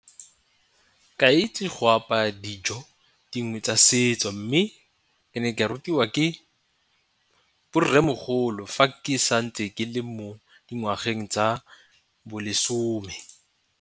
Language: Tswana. Ke a itse go apaya dijo dingwe tsa setso, mme e ne ke a rutiwa ke borremogolo fa ke santse ke le mo dingwageng tsa bolesome.